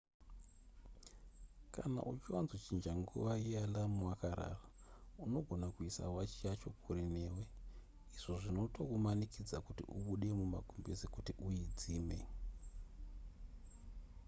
kana uchiwanzochinja nguva yealarm wakarara unogona kuisa wachi yacho kure newe izvo zvinotozokumanikidza kuti ubude mumagumbeze kuti uidzime